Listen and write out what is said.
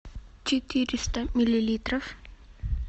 четыреста миллилитров